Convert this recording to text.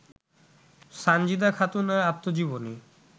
সন্জীদা খাতুনের আত্মজীবনী